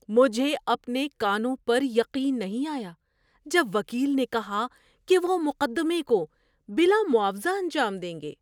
مجھے اپنے کانوں پر یقین نہیں آیا جب وکیل نے کہا کہ وہ مقدمے کو بلا معاوضہ انجام دیں گے۔